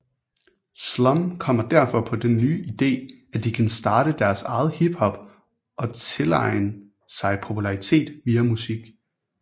Slum kommer derfor på den nye idé at de kan starte deres eget hiphop og tilegen sig popularitet via musik